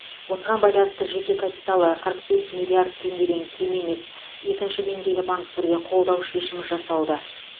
осыған байланысты жеке капиталы қырық бес миллиард теңгеден кем емес екінші деңгейлі банктерге қолдау шешімі жасалды